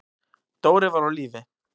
Dóri var á lífi.